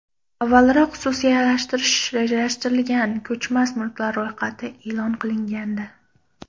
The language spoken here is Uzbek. Avvalroq xususiylashtirish rejalashtirilgan ko‘chmas mulklar ro‘yxati e’lon qilingandi .